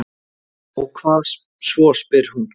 """Og hvað svo, spyr hún."""